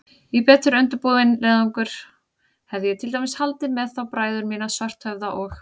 Í betur undirbúinn leiðangur hefði ég til dæmis haldið með þá bræður mína, Svarthöfða og